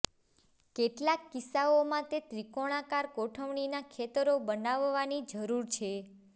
કેટલાક કિસ્સાઓમાં તે ત્રિકોણાકાર ગોઠવણીના ખેતરો બનાવવાની જરૂર છે